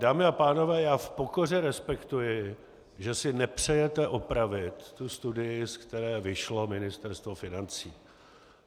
Dámy a pánové, já v pokoře respektuji, že si nepřejete opravit tu studii, ze které vyšlo Ministerstvo financí.